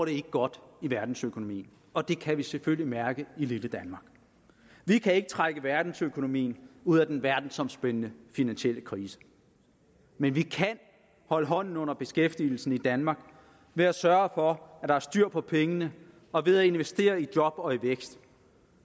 ikke godt i verdensøkonomien og det kan vi selvfølgelig mærke i lille danmark vi kan ikke trække verdensøkonomien ud af den verdensomspændende finansielle krise men vi kan holde hånden under beskæftigelsen i danmark ved at sørge for at der er styr på pengene og ved at investere i job og vækst